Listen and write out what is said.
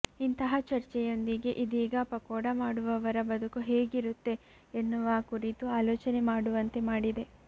ಇಂತಹ ಚರ್ಚೆಯೊಂದಿಗೆ ಇದೀಗ ಪಕೋಡಮಾಡುವವರ ಬದುಕು ಹೇಗಿರುತ್ತೆ ಎನ್ನುವ ಕುರಿತು ಆಲೋಚನೆ ಮಾಡುವಂತೆ ಮಾಡಿದೆ